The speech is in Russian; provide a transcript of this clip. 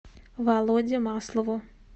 володе маслову